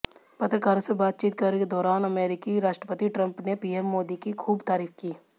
पत्रकारों से बातचीत के दौरान अमेरिकी राष्ट्रपति ट्रंप ने पीएम मोदी की खूब तारीफ की